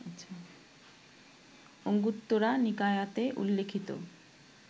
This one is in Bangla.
অঙ্গুত্তরা নিকায়াতে উল্লিখিত